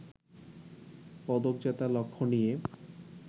পদক জেতার লক্ষ্য নিয়ে